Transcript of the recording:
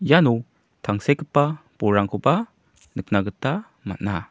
iano tangsekgipa bolrangkoba nikna gita man·a.